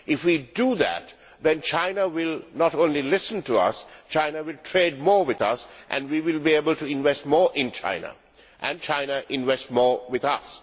If we do that, then China will not only listen to us, but will trade more with us, we will be able to invest more in China and China invest more with us.